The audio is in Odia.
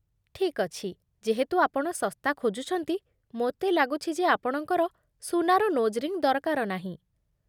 ଠିକ୍ ଅଛି, ଯେହେତୁ ଆପଣ ଶସ୍ତା ଖୋଜୁଛନ୍ତି, ମୋତେ ଲାଗୁଛି ଯେ ଆପଣଙ୍କର ସୁନାର ନୋଜ୍ ରିଙ୍ଗ୍ ଦରକାର ନାହିଁ ।